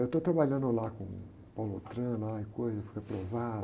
Eu estou trabalhando lá com o Paulo Autran, lá e coisa, e fui aprovado.